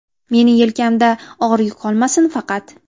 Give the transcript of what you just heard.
Mening yelkamda og‘ir yuk qolmasin faqat.